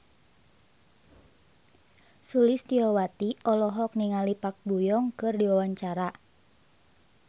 Sulistyowati olohok ningali Park Bo Yung keur diwawancara